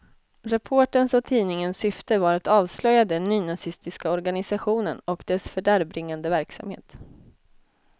Reporterns och tidningens syfte var att avslöja den nynazistiska organisationen och dess fördärvbringande verksamhet.